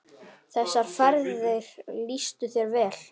Þessar ferðir lýstu þér vel.